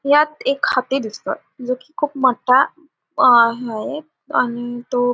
ह्यात एक हत्ती दिसतोय जो कि खूप मोठा अं हाये आणि तो--